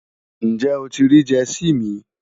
Njẹ́ o ti riì Jersey mi?